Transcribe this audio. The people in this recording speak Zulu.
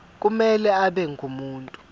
kumele abe ngumuntu